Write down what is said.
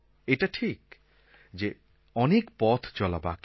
এটা ঠিক যে অনেক পথ চলা বাকি